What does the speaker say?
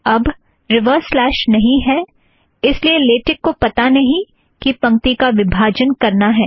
अब यह reverse slash नहीं है इस लिए लेटेक को पता नहीं कि पंक्ति का विभाजन करना है